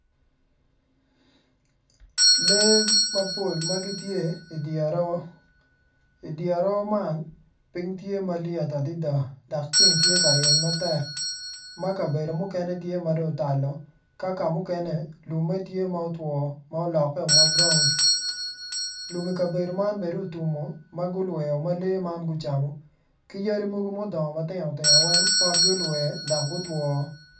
Lee mpol ma gitye i di aroo i di aroo man ping tye malyet adida dok ceng tye ka ryeny matek ma kabedo mukene tye ma dongo otalo ka ka mukene lumme tye ma otwo ma olokke ma buraun lum i kabedo man be dong otummo ma gulweo ma lee man gucamo ki yadi mogo ma gudongo ma tino tino weny pot gulwer dok gutoo